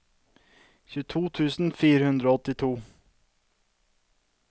tjueto tusen fire hundre og åttito